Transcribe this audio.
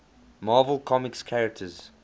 marvel comics characters